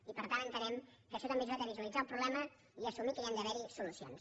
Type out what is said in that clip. i per tant entenem que això també ha ajudat a visualitzar el problema i a assumir que hi han d’haver solucions